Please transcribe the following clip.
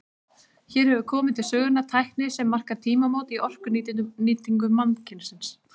Hér hefur komið til sögunnar tækni sem markar tímamót í orkunýtingu mannkynsins.